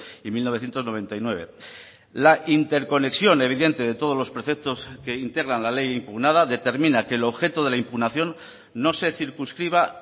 y mil novecientos noventa y nueve la interconexión evidente de todos los preceptos que integran la ley impugnada determina que el objeto de la impugnación no se circunscriba